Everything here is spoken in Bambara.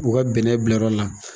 U bɛnnɛ bilayɔrɔ la.